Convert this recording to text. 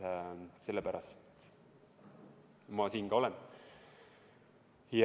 Sellepärast ma siin ka olen.